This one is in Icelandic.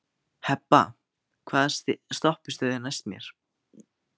Hebba, hvaða stoppistöð er næst mér?